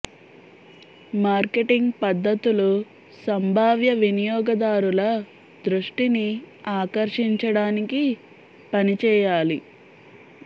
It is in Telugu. మార్కెటింగ్ పద్ధతులు సంభావ్య వినియోగదారుల దృష్టిని ఆకర్షించడానికి పని చేయాలి